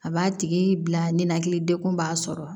A b'a tigi bila ninakilidekun b'a sɔrɔ